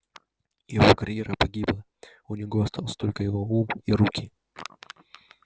его карьера погибла у него остался только его ум и руки